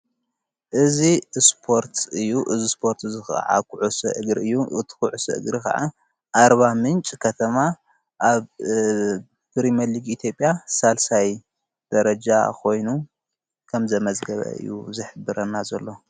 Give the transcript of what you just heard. እዝ እስጶርት እዩ እዝ ስጶርት ዝኽዓ ዂዑ ሥእግሪ እዩ እትዂዑ ሥእግሪ ኸዓ ኣርባ ምንጭ ከተማ ኣብ ብሪመሊጊ ኢቲጴያ ሣልሳይ ደረጃ ኾይኑ ከም ዘመዘገበ እዩ ዘኅብረና ዘሎ።